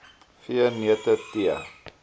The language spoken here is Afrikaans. v neute tee